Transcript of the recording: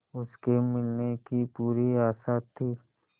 उसके मिलने की पूरी आशा थी